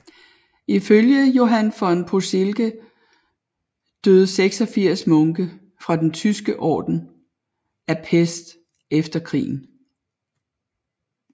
Ifølge Johann von Posilge døde 86 munke fra Den Tyske Orden af pest efter krigen